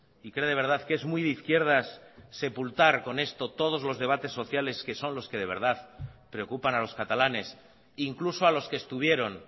y cree de verdad que es muy de izquierdas sepultar con esto todos los debates sociales que son los que de verdad preocupan a los catalanes incluso a los que estuvieron